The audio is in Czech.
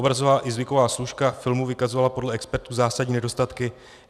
Obrazová i zvuková složka filmů vykazovala podle expertů zásadní nedostatky.